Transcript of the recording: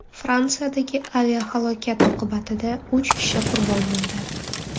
Fransiyadagi aviahalokat oqibatida uch kishi qurbon bo‘ldi.